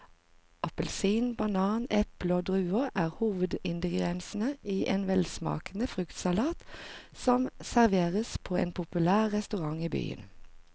Appelsin, banan, eple og druer er hovedingredienser i en velsmakende fruktsalat som serveres på en populær restaurant i byen.